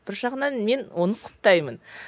бір жағынан мен оны құптаймын